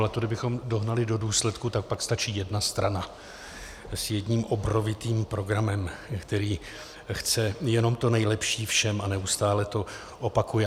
Ale to kdybychom dohnali do důsledku, tak pak stačí jedna strana s jedním obrovitým programem, která chce jenom to nejlepší všem a neustále to opakuje.